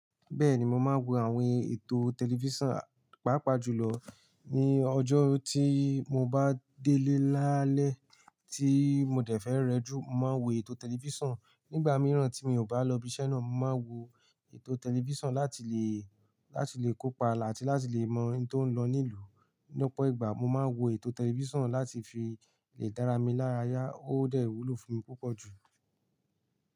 Bẹ́ẹ̀ni, mo máa ń wo àwọn ètò tẹlifíṣàn pàápàá jùlọ ní ọjọ́ tí mo bá délé lálẹ́ tí mo dẹ̀ fẹ́ rẹjú, mo máa ń wo ètò tẹlifíṣàn. Nígbà mìíràn tí mi ò bá lọ ibiṣẹ́ náà, mo máa ń wo ètò tẹlifíṣàn láti lè, láti lè kópa àti láti lè mọ ohun tó ń lọ ní ìlú. Ní ọ̀pọ̀ ìgbà mo máa ń wo ètò tẹlifíṣàn láti fi lè dára mi lára yá, ó dẹ̀ wúlò fún mi púpọ̀ jù.